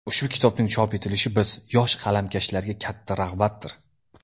Ushbu kitobning chop etilishi biz, yosh qalamkashlarga katta rag‘batdir.